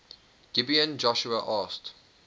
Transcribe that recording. gibeon joshua asked